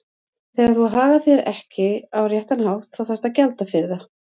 Þegar þú hagar þér ekki á réttan hátt þá þarftu að gjalda fyrir það.